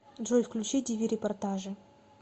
джой включи ди ви репортажи